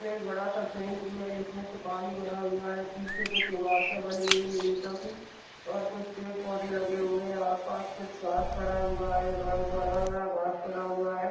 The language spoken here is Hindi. इसमें एक बड़ा सा स्वीमिंगपुल है जिसमें से पानी भरा हुवा है पीछे कुछ इमरत बनी हुयी हे खाफी ओर खुच पेड पोधे लगे हुए है आसपास कुछ घास पड़ा हुआ है और बडा बड़ा घास खड़ा हुआ है।